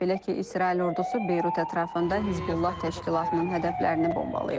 Belə ki, İsrail ordusu Beyrut ətrafında Hizbullah təşkilatının hədəflərini bombalayıb.